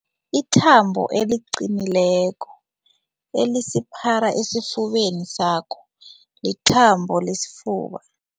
Ithambo eliqinileko elisipara esifubeni sakho lithambo lesifuba.